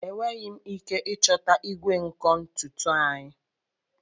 Enweghị m ike ịchọta igwe nkụ ntutu anyị.